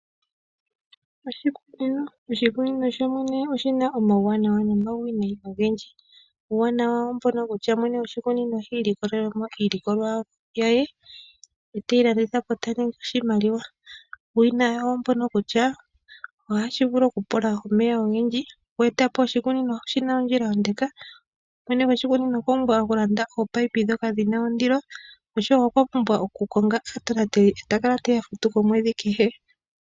Oshikunino, oshikunino sho shene oshina omauwanawa no mauwineyi ogendji. Uuwanawa oombono kutya mwene gwoshikunino oha ilikolele mo iilikolwa ye. Ye teyi landitha po ta ningi oshimaliwa . Uuwineyi oombono kutya ohashi vulu oku pula omeya ogendji, oku etapo oshikunino oshina ondjila ondeka. Mwene goshikunino okwa pumbwa oku landa ominino dhoka dhina ondilo, osho wo okwa pumbwa oku konga aatonateli ye ta kala teya futu komwedhi kehe.